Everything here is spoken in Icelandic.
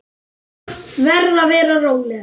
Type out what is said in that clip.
Verð að vera róleg.